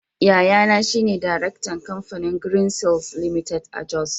Yayana shi ne Daraktan Kamfanin Greenseals Ltd. a Jos.